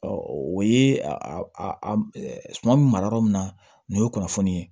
o ye a bɛ mara yɔrɔ min na nin ye kunnafoni ye